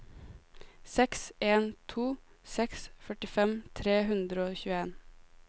seks en to seks førtifem tre hundre og tjueen